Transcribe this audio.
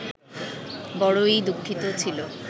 বড়ই দুঃখিত ছিল